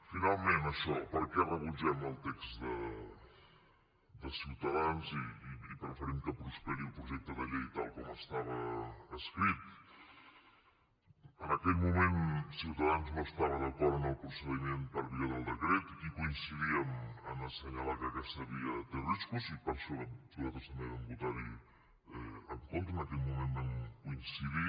finalment això per què rebutgem el text de ciutadans i preferim que prosperi el projecte de llei tal com estava escrit en aquell moment ciutadans no estava d’acord amb el procediment per via del decret i coincidíem en assenyalar que aquesta via té riscos i per això nosaltres també vam votar hi en contra en aquell moment vam coincidir